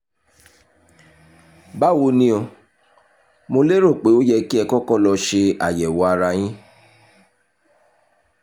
báwo ni o? mo lérò pé ó yẹ kí ẹ kọ́kọ́ lọ ṣe àyẹ̀wò ara yín